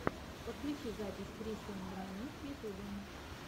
подключи запись кристен доминик в ютубе